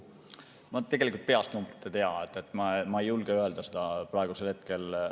Ma tegelikult peast numbreid ei tea, ma ei julge neid praegusel hetkel öelda.